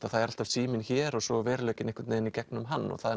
að það er alltaf síminn hér og svo er veruleikinn einhvern veginn í gegnum hann það